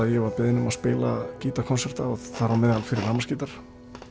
ég var beðinn um að spila þar á meðal fyrir rafmagnsgítar